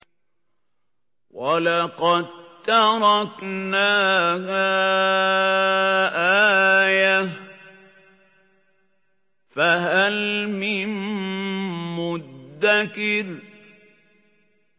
وَلَقَد تَّرَكْنَاهَا آيَةً فَهَلْ مِن مُّدَّكِرٍ